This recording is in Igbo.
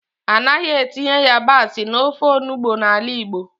Anaghị etinye yabasị n'ofe onugbu n'ala Igbo.